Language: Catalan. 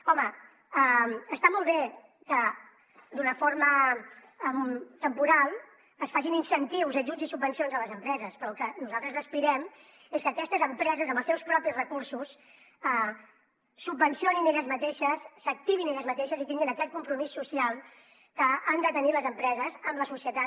home està molt bé que d’una forma temporal es facin incentius ajuts i subvencions a les empreses però al que nosaltres aspirem és que aquestes empreses amb els seus propis recursos subvencionin elles mateixes s’activin elles mateixes i tinguin aquest compromís social que han de tenir les empreses amb la societat